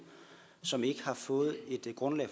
som ikke har fået et grundlag